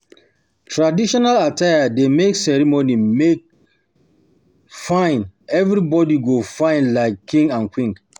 Traditional attire dey make ceremony make ceremony fine, everybody go fyn like king and queen.